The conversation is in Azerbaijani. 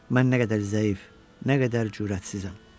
Mən nə qədər zəif, nə qədər cürətsizəm.